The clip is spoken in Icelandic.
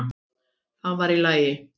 Það var allt í lagi.